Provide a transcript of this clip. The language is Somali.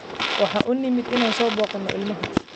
Waxaan u nimid inaan soo booqano ilmaha.